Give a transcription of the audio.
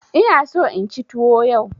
Ina so inci tuwo yau.